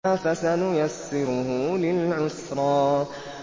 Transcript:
فَسَنُيَسِّرُهُ لِلْعُسْرَىٰ